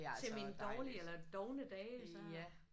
Til mine dårlige eller dovne dage så